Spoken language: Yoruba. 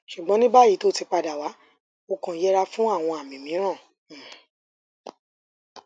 ṣùgbọn ní báyìí tí ó ti padà wá o kàn yẹra fún àwọn àmì mìíràn um